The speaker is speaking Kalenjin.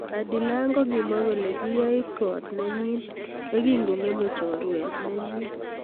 Adilang kokimwa kole kiyait kot nenyi yekikongeme chorwet nenyi.